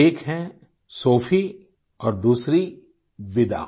एक है सोफी और दूसरी विदा